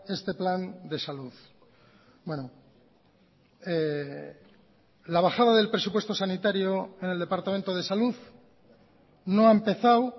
este plan de salud la bajada del presupuesto sanitario en el departamento de salud no ha empezado